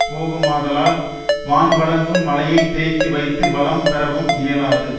போகுமாதலால் வான் வழங்கும் மழையைத் தேக்கி வைத்து வளம் பெறவும் இயலாது